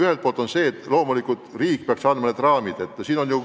Ühelt poolt loomulikult riik peaks seadma mingid raamid.